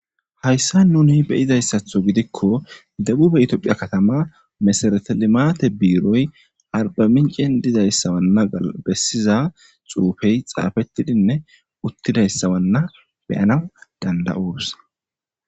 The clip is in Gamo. Hayissan nuni be'izayisaththo giddikko debube Ethiopia katama mesereti limate biroyi arbaminccenni dizayissa bessiza xuufeyi xaafettida uttidayisanna be'anawu danida'osi.